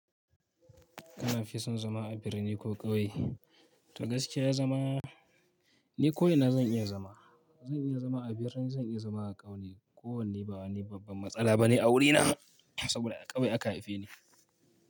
Kana fi son zama a birni ko ƙauye? To gaskiya zama, ni ko ina zan iya zama. Zan iya zama a birni, zan iya zama a ƙauye. Ko wanne ba wani babban matsala bane a wurina, saboda a ƙauye aka haife ni.